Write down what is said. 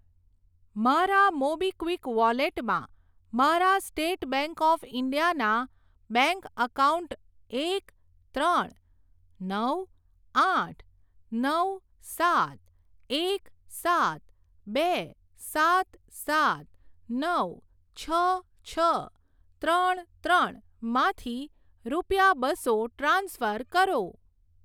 મારા મોબીક્વિક વોલેટમાં મારા સ્ટેટ બેંક ઓફ ઇન્ડિયા ના બેંક એકાઉન્ટ એક ત્રણ નવ આઠ નવ સાત એક સાત બે સાત સાત નવ છ છ ત્રણ ત્રણ માંથી રૂપિયા બસો ટ્રાન્સફર કરો.